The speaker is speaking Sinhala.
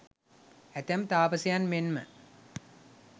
ඇතැම් තාපසයන් මෙන් ම